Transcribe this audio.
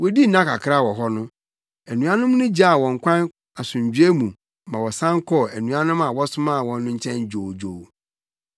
Wodii nna kakra wɔ hɔ no, anuanom no gyaa wɔn kwan asomdwoe mu ma wɔsan kɔɔ anuanom a wɔsomaa wɔn no nkyɛn dwoodwoo.